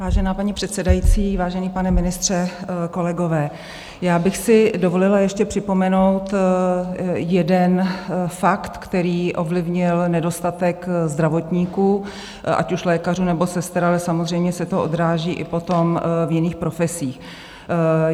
Vážená paní předsedající, vážený pane ministře, kolegové, já bych si dovolila ještě připomenout jeden fakt, který ovlivnil nedostatek zdravotníků, ať už lékařů, nebo sester, ale samozřejmě se to odráží i potom v jiných profesích.